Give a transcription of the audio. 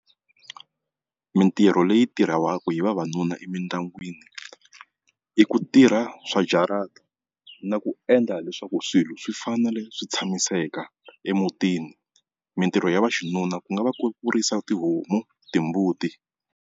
Mitirho leyi tirhiwaka hi vavanuna emindyangwini i ku tirha swa jarata na ku endla leswaku swilo swi fanele swi tshamiseka emutini. Mitirho ya vaxinuna ku nga va ku ku risa tihomu, timbuti.